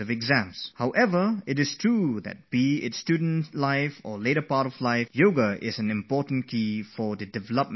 One thing is for sure, whether it is your student days or any other phase of your life, Yoga is a major key to the development of your inner mind